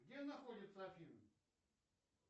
где находятся афины